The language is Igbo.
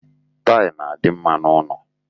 Tail na-adị mma n'ụnọ.